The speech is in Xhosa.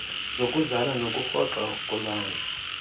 zokuzala nokurhoxa kolwandle